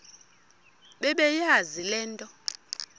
bebeyazi le nto